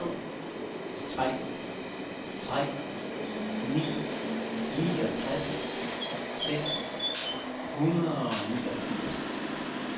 to tre tre ni niogtres seks hundrede og niogfirs